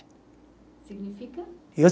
Significa? Eu